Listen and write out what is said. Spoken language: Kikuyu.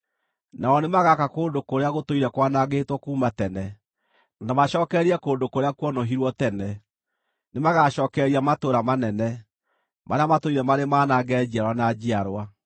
Nao nĩmagaka kũndũ kũrĩa gũtũire kwanangĩtwo kuuma tene, na macookererie kũndũ kũrĩa kuonũhirwo tene; nĩ magaacookereria matũũra manene marĩa matũire marĩ manange njiarwa na njiarwa.